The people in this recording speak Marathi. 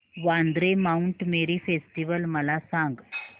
वांद्रे माऊंट मेरी फेस्टिवल मला सांग